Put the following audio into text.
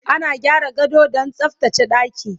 ana gyara gado Dan tsaftace ɗaki